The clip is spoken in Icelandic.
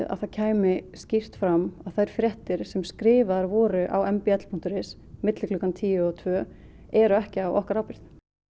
að það kæmi skýrt fram að þær fréttir sem skrifaðar voru á m b l punktur is á milli tíu og tvö eru ekki á okkar ábyrgð